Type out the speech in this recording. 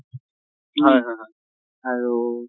হয় হয় হয় । আৰু ।